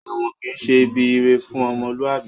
Èwọ̀n kìí ṣe ibi ire fún ọmọlúwàbí